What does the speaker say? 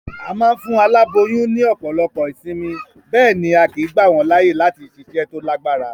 A ma n fún aláboyún ní òpòlopo ìsinmi, béèni a kìí gbà wón láàyè láti siṣẹ́ to lágbára